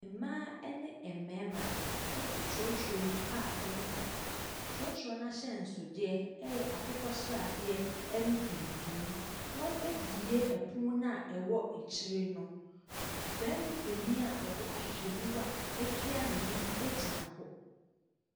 Mmaa ne mmarima te trɔtrɔ mu a ɛreka. Trɔtrɔ n’ahyɛnsodeɛ yɛ akokɔsradeɛ ne tuntum. Wɔabue pono no a ɛwɔ akyire no. Barima panin a ɔde ahwehwɛniwa atua n’ani gyina hɔ.